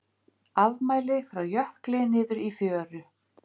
Afmæli frá jökli niður í fjöru